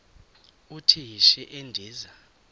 uthi yishi endiza